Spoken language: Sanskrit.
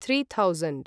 three thousand